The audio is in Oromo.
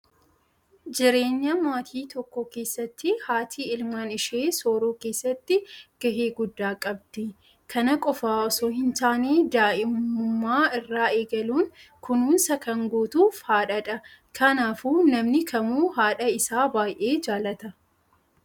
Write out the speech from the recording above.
JIreenya maatii tokkoo keessatti haati ilmaan ishee sooruu keessatti gahee guddaa qabdi. Kana qofaa osoo hin taane daa'imummaa irraa eegaluun kunuunsa kan gootuuf haadhadha. Kanaafuu namni kamuu haadha isaa baay'ee jaallata.